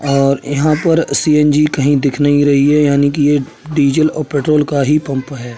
और यहाँ पर सी.एन.जी कही दिख नहीं रही है यानी की ये डीज़ल और पेट्रोल का ही पंप है।